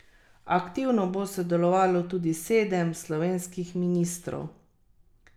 Aktivno bo sodelovalo tudi sedem slovenskih ministrov.